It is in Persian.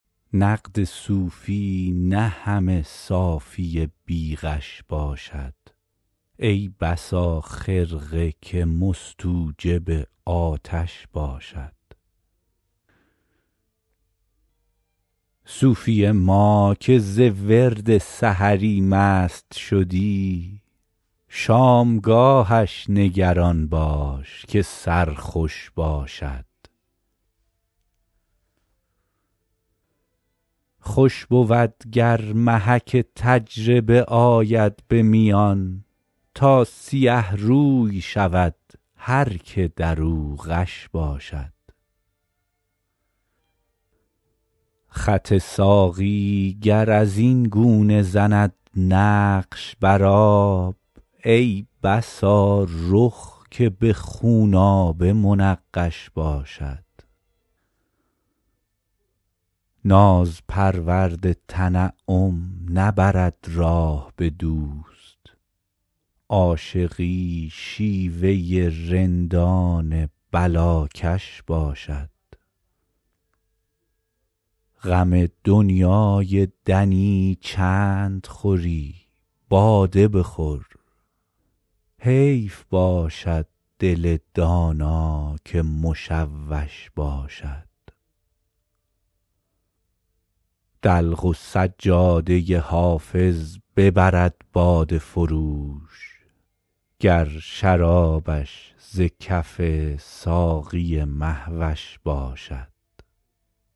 نقد صوفی نه همه صافی بی غش باشد ای بسا خرقه که مستوجب آتش باشد صوفی ما که ز ورد سحری مست شدی شامگاهش نگران باش که سرخوش باشد خوش بود گر محک تجربه آید به میان تا سیه روی شود هر که در او غش باشد خط ساقی گر از این گونه زند نقش بر آب ای بسا رخ که به خونآبه منقش باشد ناز پرورد تنعم نبرد راه به دوست عاشقی شیوه رندان بلاکش باشد غم دنیای دنی چند خوری باده بخور حیف باشد دل دانا که مشوش باشد دلق و سجاده حافظ ببرد باده فروش گر شرابش ز کف ساقی مه وش باشد